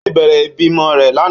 Ó ti bẹ̀rẹ̀ ìbímọ rẹ̀ lánàá.